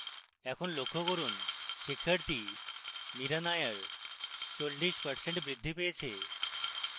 এখন লক্ষ্য করুন শিক্ষার্থী mira nair 40% বৃদ্ধি পেয়েছে